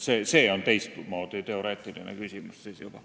See on juba teistmoodi teoreetiline küsimus.